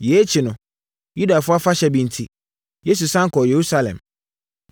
Yei akyi no, Yudafoɔ afahyɛ bi enti, Yesu sane kɔɔ Yerusalem.